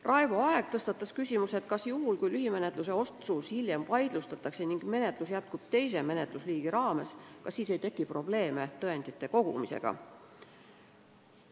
Raivo Aeg tõstatas küsimuse, kas juhul, kui lühimenetluse otsus hiljem vaidlustatakse ning menetlus jätkub teise menetlusliigi raames, kas siis ei teki probleeme tõendite kogumisega.